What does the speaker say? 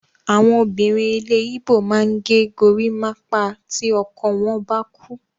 Àwọn obìnrin ilẹ̀ Igbo máa ń ge gorímápá tí ọkọ wọ́n bá kú.